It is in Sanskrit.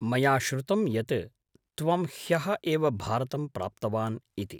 मया श्रुतं यत् त्वं ह्यः एव भारतं प्राप्तवान् इति।